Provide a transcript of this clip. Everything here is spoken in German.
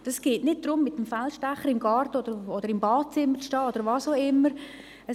Es geht nicht darum, mit dem Feldstecher im Garten oder im Badezimmer oder wo auch immer zu stehen.